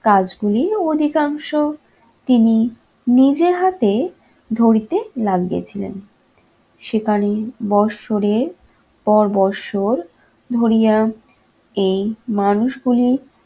কাজগুলি অধিকাংশ তিনি নিজের হাতে ধরিতে লাগিয়েছিলেন। সেখানে বৎসরের পর বৎসর ধরিয়া এই মানুষগুলি